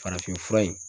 Farafin fura in